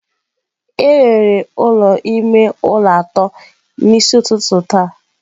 A rere ụlọ ime ụlọ atọ n'isi ụtụtụ taa